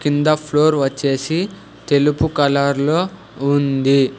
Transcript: కింద ఫ్లోర్ వచ్చేసి తెలుపు కలర్లో ఉంది.